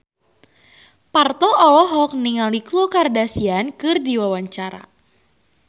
Parto olohok ningali Khloe Kardashian keur diwawancara